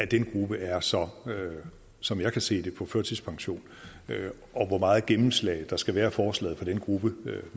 den gruppe er som som jeg kan se det på førtidspension hvor meget gennemslag der skal være i forslaget for den gruppe